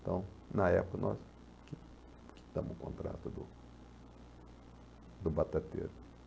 Então, na época, nós qui quitamos o contrato do do batateiro.